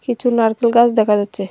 কিছু নারকেল গাছ দেখা যাচ্ছে।